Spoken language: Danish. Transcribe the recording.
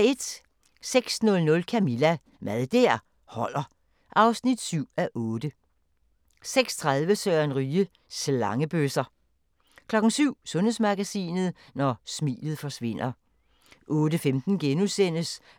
06:00: Camilla – Mad der holder (7:8) 06:30: Søren Ryge: Slangebøsser 07:00: Sundhedsmagasinet: Når smilet forsvinder 08:15: